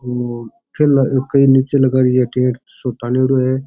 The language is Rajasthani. ठेला एक निचे लगा रियो है टेंट सा ताणेडो है।